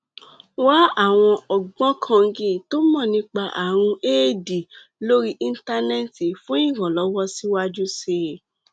wá àwọn ògbóǹkangí tó mọ nípa ààrùn éèdì lórí íńtánẹẹtì fún ìrànlọwọ síwájú sí i